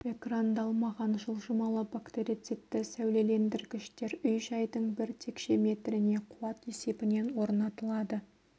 экрандалмаған жылжымалы бактерицидті сәулелендіргіштер үй-жайдың бір текше метріне қуат есебінен орнатылады